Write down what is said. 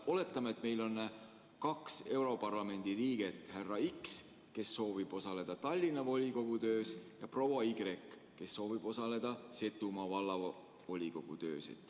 Oletame, et meil on kaks europarlamendi liiget: härra X, kes soovib osaleda Tallinna volikogu töös, ja proua Y, kes soovib osaleda Setomaa Vallavolikogu töös.